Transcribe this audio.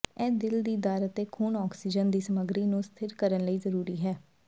ਇਹ ਦਿਲ ਦੀ ਦਰ ਅਤੇ ਖੂਨ ਆਕਸੀਜਨ ਦੀ ਸਮੱਗਰੀ ਨੂੰ ਸਥਿਰ ਕਰਨ ਲਈ ਜ਼ਰੂਰੀ ਹੈ